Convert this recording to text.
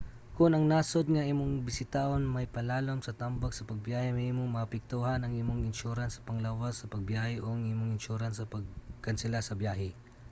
kon ang nasud nga imong bisitahon mapailalom sa tambag sa pagbiyahe mahimong maapektuhan ang imong insurance sa panglawas sa pagbiyahe o ang imong insurance sa pagkansela sa biyahe